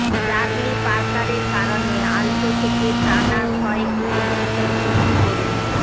Charlie পার্কারের কারণে alto থেকে টানা সয়েক্স পর্যন্ত স্যুইচ করুন